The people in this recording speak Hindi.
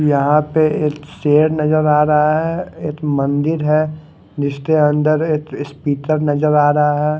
यहा पे एक शेर नजर आ रहा है एक मंदिर है जिसके अंदर एक स्पीकर नजर आ रहा है।